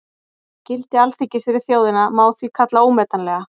Gildi Alþingis fyrir þjóðina má því kalla ómetanlegt.